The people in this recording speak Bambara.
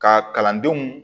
Ka kalandenw